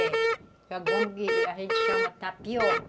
É a goma que a gente chama tapioca.